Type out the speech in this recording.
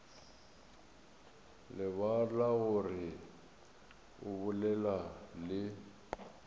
lebala gore o bolela le